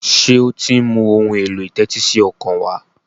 ṣe o tí ń mú Ohun èlò ìtẹ́tísí ọkàn wá?